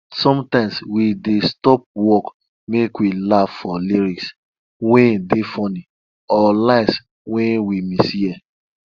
sometimes we dey stop work make we laugh for lyrics wey dey funny or lines wey we mishear